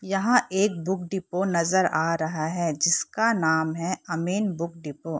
यहाँ एक book depot नज़र आ रहा है। जिसका नाम है अमिन बुक डिपो ।